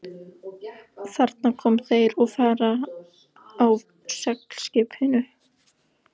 Þarna koma þeir og fara á seglskipunum.